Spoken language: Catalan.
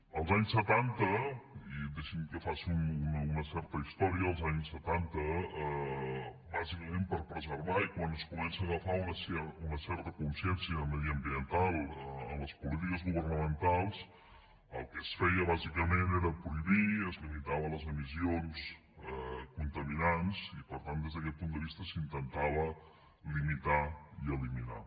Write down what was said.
als anys setanta i deixinme que faci una certa història bàsicament per preservar i quan es comença a agafar una certa consciència mediambiental a les polítiques governamentals el que es feia bàsicament era prohibir es limitaven les emissions contaminants i per tant des d’aquest punt de vista s’intentava limitar i eliminar